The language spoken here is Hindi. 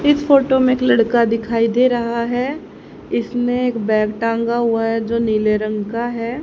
इस फोटो में एक लड़का दिखाई दे रहा है इसने एक बैग टांगा हुआ है जो नीले रंग का है।